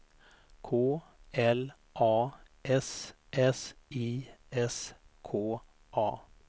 K L A S S I S K A